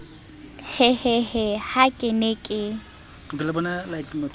hehehe ha ke ne ke